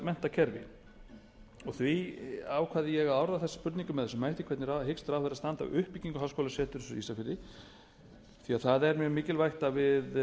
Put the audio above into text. menntakerfi því ákvað ég að orða þessa spurningu með þessum hætti hvernig hyggst ráðherra standa að uppbyggingu háskólaseturs á ísafirði því að það er mjög mikilvægt að við